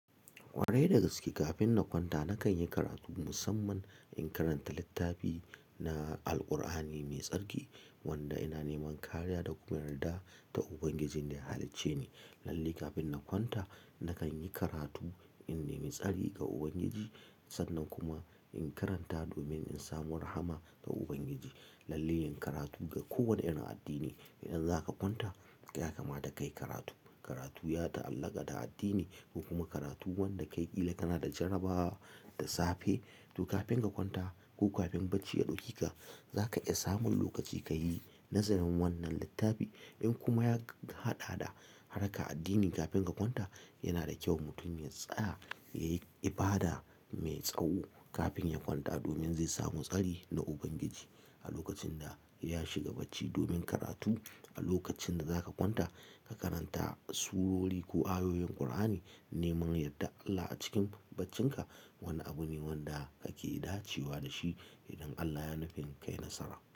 Kwarai da gaske, kafin na kwanta nakan yi karatu musamman in karanta littafi na Alkur'ani mai tsarki wanda ina neman kariya da kuma yarda da Ubangijin da ya halicce ni. Lalle kafin na kwanta nakan yi karatu in nemi tsari ga Ubangiji sannan kuma in karanta domin in samu rahama ta Ubangiji. Lallai yin karatu ga kowane irin addini. Idan zaka kwanta ya kamata kayi karatu. Karatu ya ta'allaka da addini. Kuma karatu wanda ka yi ƙila kana da jaraba da safe. To kafin ka kwanta ko kafin bacci ya ɗauki ka, zaka iya samun lokaci ka yi nazarin wannan littafi. In kuma ya haɗa da harka addini kafin ka kwanta, yana da kyau mutum ya tsaya, ya yi ibada mai tsawo kafin ya kwanta domin zai samu tsari na Ubangiji. A lokacin da ya shiga bacci domin karatu, a lokacin da zaka kwanta ka karanta surori ko ayoyin Kur'ani neman yardar Allah a cikin baccinka wani abu ne wanda kake dacewa da shi idan Allah ya nufi kai nasara.